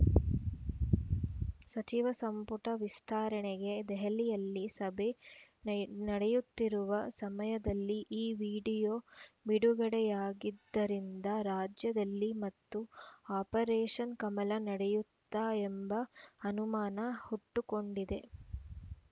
ಸಚಿವ ಸಂಪುಟ ವಿಸ್ತರಣೆಗೆ ದೆಹಲಿಯಲ್ಲಿ ಸಭೆ ನಡೆಯುತ್ತಿರುವ ಸಮಯದಲ್ಲೇ ಈ ವಿಡಿಯೋ ಬಿಡುಗಡೆಯಾಗಿದ್ದರಿಂದ ರಾಜ್ಯದಲ್ಲಿ ಮತ್ತು ಆಪರೇಷನ್‌ ಕಮಲ ನಡೆಯುತ್ತಾ ಎಂಬ ಅನುಮಾನ ಹುಟ್ಟುಕೊಂಡಿದೆ